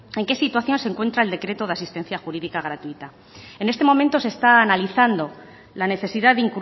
en qué situación se encuentra el decreto de asistencia jurídica gratuita en este momento se está analizando la necesidad de